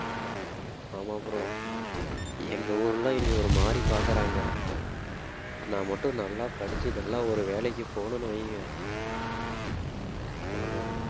ஆமா bro எங்க ஊர்ல என்னைய ஒரு மாதிரி பாக்குறாங்க நான் மட்டும் நல்லா படிச்சு நல்லா ஒரு வேலைக்கு போனோம்ன்னு வைங்க அவ்வளவுதான்